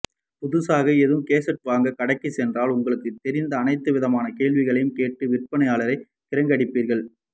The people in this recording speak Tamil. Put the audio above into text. புதுசாக ஏதும் கேட்ஜட் வாங்க கடைக்கு சென்றால் உங்களுக்கு தெரிந்த அனைத்து விதமான கேள்விகளையும் கேட்டு விற்பனையாளரை கிரங்கடிப்பீர்கள்